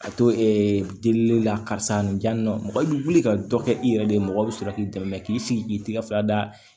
Ka to delili la karisa nin jamu mɔgɔ i bɛ wuli ka dɔ kɛ i yɛrɛ de ye mɔgɔ bɛ sɔrɔ k'i dɛmɛ k'i sigi k'i tigɛ fura da